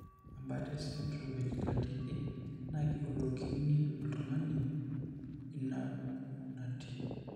Ore embaata esindirom eChilaiditi naa keiwulokini oltung'ani inaapuku naatii.